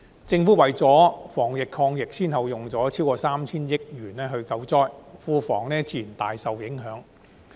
政府為了防疫抗疫先後用了超過 3,000 億元救災，庫房自然大受影響。